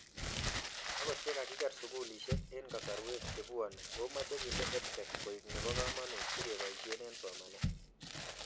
Akot ye kakiker sugulishek eng' kasarwek chepuoni omache kende EdTech koek nepo kamanut sikepoishe eng' somanet